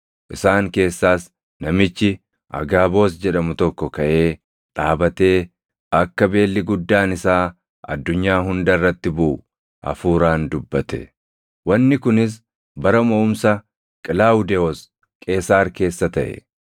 Isaan keessaas namichi Agaaboos jedhamu tokko kaʼee dhaabatee akka beelli guddaan isaa addunyaa hunda irratti buʼu Hafuuraan dubbate. Wanni kunis bara moʼumsa Qilaawudewoos Qeesaar keessa taʼe.